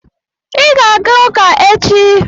Ị ga-aga ụka echi.